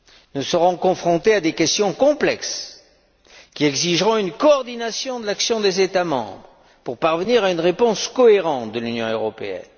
Nous serons confrontés à des questions complexes qui exigeront une coordination de l'action des États membres pour parvenir à une réponse cohérente de l'Union européenne.